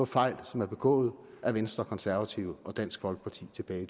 fejl som er begået af venstre og konservative og dansk folkeparti tilbage i